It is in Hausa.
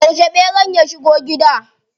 Yauce ɓeran ya shigo gida?